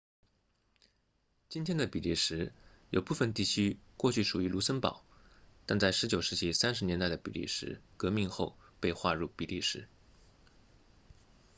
今天的比利时有部分地区过去属于卢森堡但在19世纪30年代的比利时革命后被划入比利时